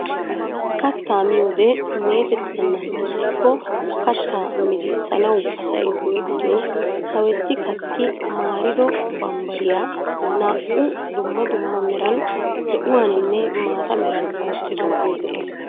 Kattaa miyoode metettenan ixiko kaattaa mizisanawu asay go"ettiyoo sawetti kaatti maarido baribbariyaa naa"u dumma dumma meran zo"uwaaninne mata meran ottoogee de'ees.